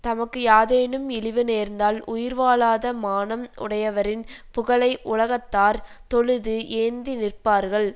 தமக்கு யாதேனும் இழிவு நேர்ந்தால் உயிர் வாழாத மானம் உடையவரின் புகழை உலகத்தார் தொழுது ஏந்தி நிற்பார்கள்